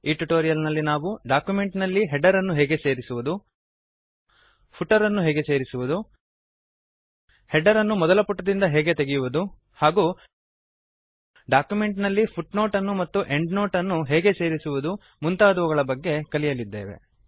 ಈ ಟ್ಯುಟೋರಿಯಲ್ ನಲ್ಲಿ ನಾವು ಡಾಕ್ಯುಮೆಂಟ್ ನಲ್ಲಿ ಹೆಡರ್ ಅನ್ನು ಹೇಗೆ ಸೇರಿಸುವುದು ಫೂಟರ್ ಅನ್ನು ಹೇಗೆ ಸೇರಿಸುವುದು ಹೆಡರ್ ಅನ್ನು ಮೊದಲ ಪುಟದಿಂದ ಹೇಗೆ ತೆಗೆಯುವುದು ಹಾಗೂ ಡಾಕ್ಯುಮೆಂಟ್ ನಲ್ಲಿ ಫುಟ್ನೋಟ್ ಅನ್ನು ಮತ್ತು ಎಂಡ್ನೋಟ್ ಅನ್ನು ಹೇಗೆ ಸೇರಿಸುವುದು ಇತ್ಯಾದಿಗಳ ಬಗ್ಗೆ ಕಲಿಯಲಿದ್ದೇವೆ